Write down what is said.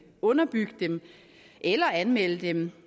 underbygge dem eller anmelde dem